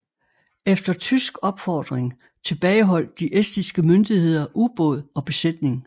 Efter tysk opfordring tilbageholdt de estiske myndigheder ubåd og besætning